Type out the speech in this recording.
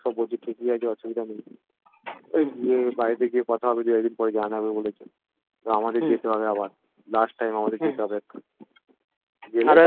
সব বলছে ঠিকই আছে অসুবিধা নেই এই গিয়ে বাড়িতে গিয়ে কথা হবে দুএকদিন পর জানাবে বলেছে আমাদের যেতে হবে আবার last time আমাদের যেতে হবে একবার